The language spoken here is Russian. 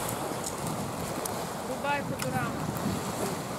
врубай футурама